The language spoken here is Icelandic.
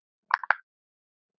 Marín Björk.